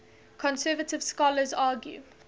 conservative scholars argue